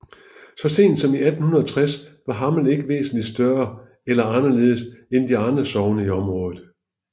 Så sent som i 1860 var Hammel ikke væsentligt større eller anderledes end de andre sogne i området